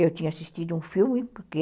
Eu tinha assistido a um filme, porque...